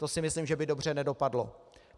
To si myslím, že by dobře nedopadlo.